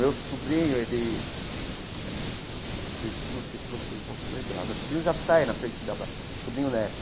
Meu sobrinho ele eh, se não sei se vocês vão se lembrar, meu sobrinho já sai na frente da ba, sobrinho neto.